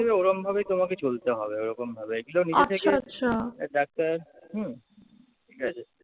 ওরমভাবেই তোমাকে চলতে হবে, ওরকমভাবে। এগুলো নিজে থেকে ডাক্তার হম ঠিক আছে